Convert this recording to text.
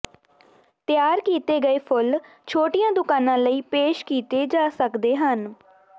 ਤਿਆਰ ਕੀਤੇ ਗਏ ਫੁੱਲ ਛੋਟੀਆਂ ਦੁਕਾਨਾਂ ਲਈ ਪੇਸ਼ ਕੀਤੇ ਜਾ ਸਕਦੇ ਹਨ